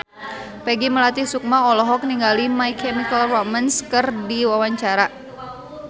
Peggy Melati Sukma olohok ningali My Chemical Romance keur diwawancara